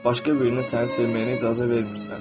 Başqa birinin səni sevməyinə icazə vermirsən.